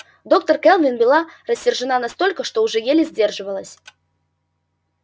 доктор кэлвин была рассержена настолько что уже еле сдерживалась